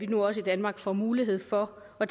nu også i danmark får mulighed for at